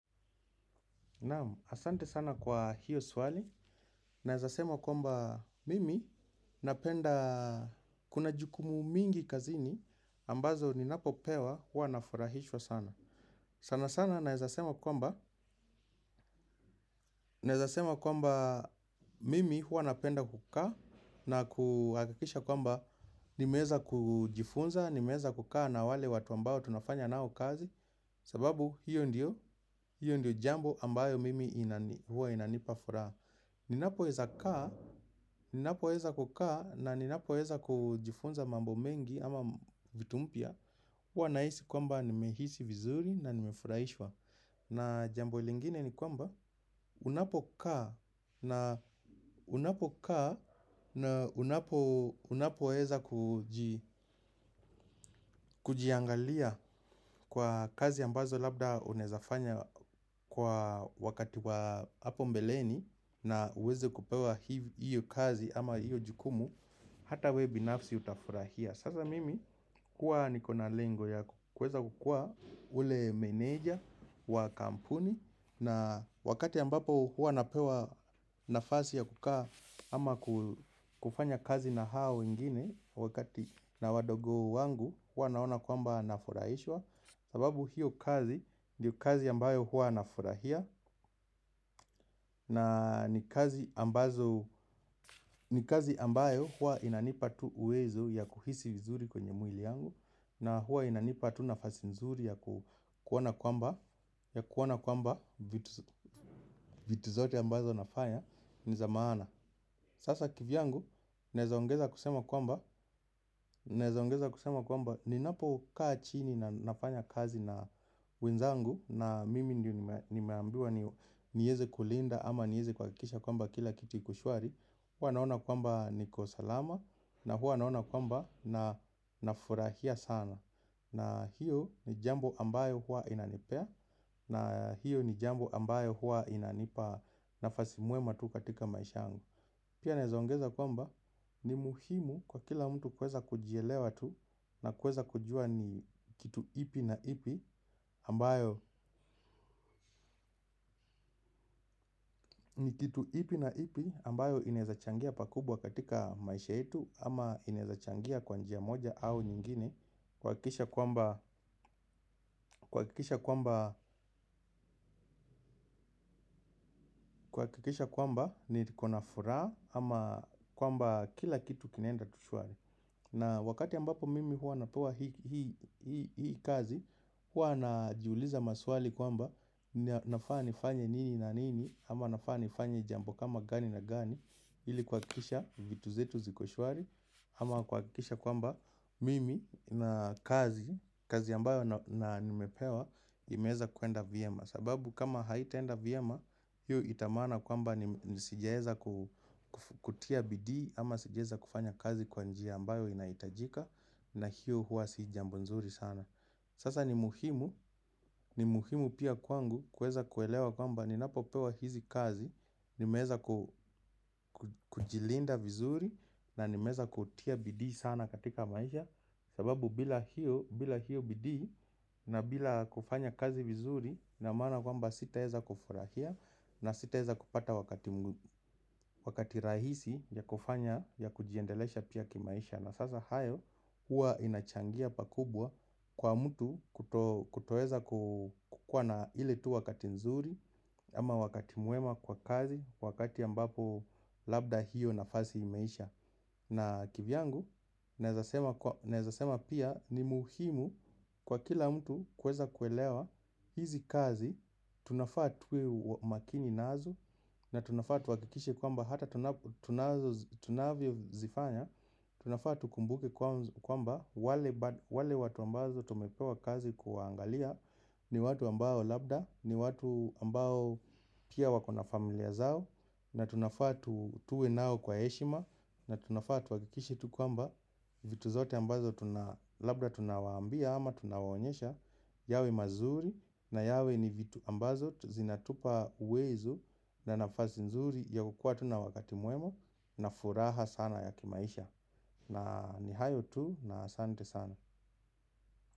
Naam, asante sana kwa hiyo swali. Naweza sema kwamba mimi napenda, kuna jukumu mingi kazini ambazo ninapopewa huwa nafurahishwa sana. Sana sana naweza sema kwamba nawezasema kwamba mimi huwa napenda kukaa na kuhakikisha kwamba nimeweza kujifunza, nimeweza kukaa na wale watu ambao tunafanya nao kazi. Sababu hiyo ndiyo, hiyo ndiyo jambo ambayo mimi huwa inanipa furaha. Ninapoweza kaa, ninapoweza kukaa na ninapoweza kujifunza mambo mengi ama vitu mpya, huwa nahisi kwamba nimehisi vizuri na nimefuraishwa. Na jambo lingine ni kwamba unapokaa na unapoweza kuji kujiangalia kwa kazi ambazo labda unawezafanya kwa wakati wa hapo mbeleni. Na uweze kupewa hiyo kazi ama hiyo jukumu. Hata wewe binafsi utafurahia. Sasa mimi kuwa niko na lengo ya kuweza kukuwa yule meneja wa kampuni na wakati ambapo huwa napewa nafasi ya kukaa ama kufanya kazi na hao wengine, wakati na wadogo wangu huwa naona kwamba nafurahishwa. Sababu hiyo kazi ndio kazi ambayo huwa nafurahia. Na ni kazi ambazo, ni kazi ambayo huwa inanipa tu uwezo ya kuhisi vizuri kwenye mwili yangu. Na huwa inanipa tu nafasi nzuri ya kuona kwamba, ya kuona kwamba vitu zote ambazo nafanya ni za maana. Sasa kivyangu naweza ongeza kusema kwamba nawezaongeza kusema kwamba ninapo kaa chini na nafanya kazi na wenzangu na mimi ndio nimeambiwa niyeze kulinda ama niyeze kuhakikisha kwamba kila kitu iko shwari, huwa naona kwamba niko salama na huwa naona kwamba nafurahia sana. Na hiyo ni jambo ambayo huwa inanipea na hiyo ni jambo ambayo huwa inanipa nafasi mwema tu katika maisha yangu. Pia naweza ongeza kwamba ni muhimu kwa kila mtu kuweza kujielewa tu na kuweza kujua ni kitu ipi na ipi ambayo ni kitu ipi na ipi ambayo inaezachangia pakubwa katika maisha yetu ama inaezachangia kwa njia moja au nyingine. Kuhakikisha kwamba niko na furaha ama kwamba kila kitu kinaenda tu shwari. Na wakati ambapo mimi huwa napewa hii hii kazi huwa najiuliza maswali kwamba nafaa nifanye nini na nini ama nafaa nifanye jambo kama gani na gani ili kuhakikisha vitu zetu ziko shwari ama kuhakikisha kwamba mimi na kazi kazi ambayo na nimepewa imeweza kuenda vyema, sababu kama haitaenda vyema, hiyo itamaana kwamba ni sijaweza kutia bidii ama sijaeza kufanya kazi kwa njia ambayo inahitajika. Na hiyo huwa si jambo nzuri sana. Sasa ni muhimu, ni muhimu pia kwangu kuweza kuelewa kwamba ninapopewa hizi kazi nimeweza kujilinda vizuri na nimeweza kutia bidii sana katika maisha, sababu bila hiyo bila hiyo bidii na bila kufanya kazi vizuri ina maana kwamba sitaweza kufurahia. Na sitaweza kupata wakati rahisi ya kufanya ya kujiendelesha pia kimaisha. Na sasa hayo, huwa inachangia pakubwa kwa mtu kutoweza kukuwa na ile tu wakati nzuri. Ama wakati mwema kwa kazi wakati ambapo labda hiyo nafasi imeisha na kivyangu naweza sema nawezasema pia ni muhimu kwa kila mtu kuweza kuelewa hizi kazi tunafaa tuwe makini nazo na tunafaa tuhakikishe kwamba hata tunavyozifanya. Tunafaa tukumbuke kwamba wale watu ambazo tumepewa kazi kuwaangalia. Ni watu ambao labda, ni watu ambao pia wako na familia zao. Na tunafaa tuwe nao kwa heshima. Na tunafaa tuhakikishe tu kwamba, vitu zote ambazo labda tunawaambia ama tunawaonyesha yawe mazuri na yawe ni vitu ambazo zinatupa uwezo. Na nafasi nzuri ya kukuwa tu na wakati mwema na furaha sana ya kimaisha na ni hayo tu na asante sana.